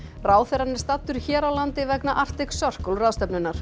ráðherrann er staddur hér á landi vegna Arctic Circle ráðstefnunnar